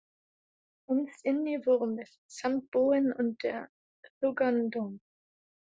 Innst inni vorum við samt búin undir þungan dóm.